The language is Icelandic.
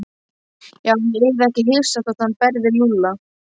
Já, ég yrði ekki hissa þótt hann berði Lúlla.